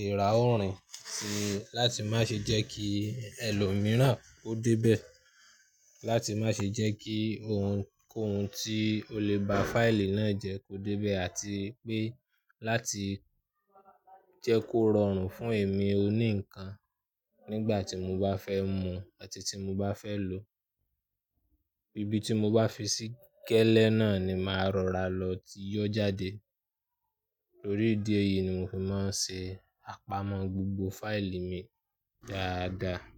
eerá orin sì láti má ṣe jẹ́ kí ẹlòmíràn ó débẹ̀, láti má ṣe jẹ́ kí ohun, ohun tí ó lè ba fáìlì náà jẹ́ kó débẹ̀ àti pé láti jẹ́ kó rọrùn fún èmi oní ǹkan nígbà tí mo bá fẹ́ mu àti tí mo bá fẹ́ lo. Ibi tí mo bá fi sí gẹ́lẹ́ náà ni máa rọra lọ tí yóò jáde. Lórí ìdí èyí ni mo fi máa ń ṣe àpamọ́ gbogbo fáìlì mi dáadáa.